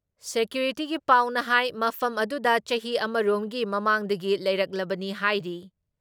ꯁꯦꯀ꯭ꯌꯨꯔꯤꯇꯤꯒꯤ ꯄꯥꯎꯅ ꯍꯥꯏ ꯃꯐꯝ ꯑꯗꯨꯗ ꯆꯍꯤ ꯑꯃꯔꯣꯝꯒꯤ ꯃꯃꯥꯡꯗꯒꯤ ꯂꯩꯔꯛꯂꯕꯅꯤ ꯍꯥꯏꯔꯤ ꯫